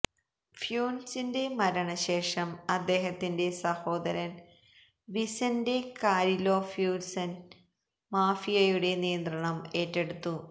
ഫ്യൂന്റസിന്റെ മരണശേഷം അദ്ദേഹത്തിന്റെ സഹോദരന് വിസെന്റെ കാരിലോ ഫ്യൂന്റസ് മാഫിയയുടെ നിയന്ത്രണം ഏറ്റെടുത്തു